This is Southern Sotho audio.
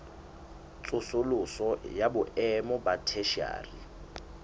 tsosoloso ya boemo ba theshiari